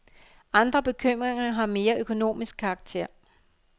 Andre bekymringer har mere økonomisk karakter.